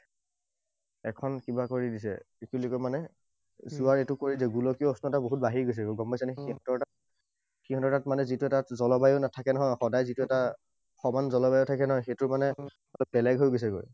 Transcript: এখন কিবা কৰি দিছে, মানে যোৱাৰ এইটো কৰি দিয়ে। গোলকীয় উষ্ণতা বহুত বাঢ়ি গৈছে, গম পাইছানে? সিহঁতৰ তাত, সিহঁতৰ তাত যিটো এটা জলবায়ু নাথাকে নহয়, সদায় যিটো এটা সৰ্বসাধাৰণ জলবায়ু থাকে নহয়, সেইটো মানে অলপ বেলেগ হৈ গৈছেগৈ।